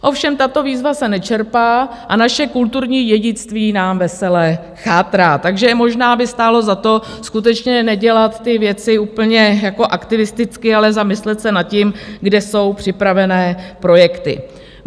Ovšem tato výzva se nečerpá a naše kulturní dědictví nám vesele chátrá, takže možná by stálo za to, skutečně nedělat ty věci úplně aktivisticky, ale zamyslet se nad tím, kde jsou připravené projekty.